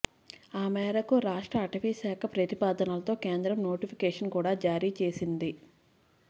ఆ మేరకు రాష్ట్ర అటవీశాఖ ప్రతిపాదనలతో కేంద్రం నోటిఫికేషన్ కూడా జారీ చేసింది